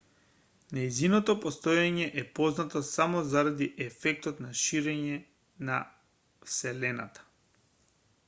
нејзиното постоење е познато само заради ефектот на ширење на вселената